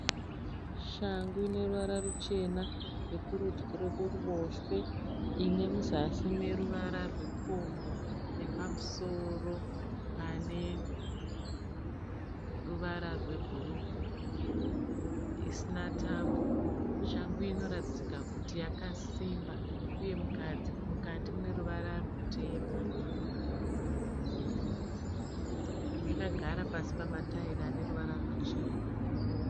Shangu ine ruvara ruchena yekurudyi nekuruboshwe. Ine muzasi mune ruvara rupfumbu nepamusoro pane ruvara rwebhuruu isina tambo. Shangu iyi inoratidzika kuti yakasimba uye mukati mune ruvara rwutema. Yakagara pasi pamataira ane ruvara ruchena.